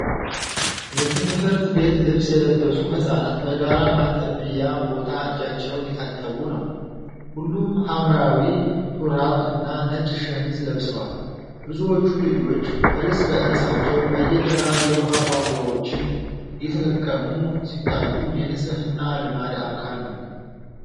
የትምህርት ቤት ልብስ የለበሱ ህጻናት በጋራ ማጠቢያ ቦታ እጃቸውን እየታጠቡ ነው። ሁሉም ሐምራዊ ሹራብ እና ነጭ ሸሚዝ ለብሰዋል። ብዙዎቹ ልጆች እርስ በእርሳቸው በየተራ የውኃ ቧንቧዎችን እየተጠቀሙ ሲታዩ የንጽህና ልማድ አካል ነው።